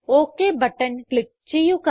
okay button click ചെയ്യുക